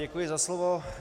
Děkuji za slovo.